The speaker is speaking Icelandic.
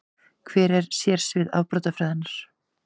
Hver eru sérsvið afbrotafræðinnar?